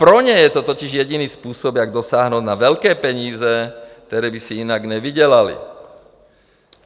Pro ně je to totiž jediný způsob, jak dosáhnout na velké peníze, které by si jinak nevydělali.